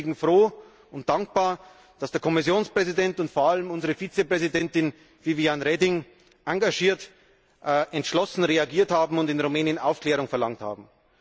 Ich bin deswegen froh und dankbar, dass der Kommissionspräsident und vor allem unsere Vizepräsidentin, Viviane Reding, engagiert und entschlossen reagiert haben und in Rumänien Aufklärung verlangt haben.